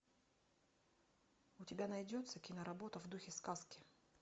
у тебя найдется киноработа в духе сказки